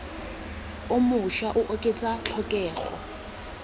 o mošwa o oketsa tlhokego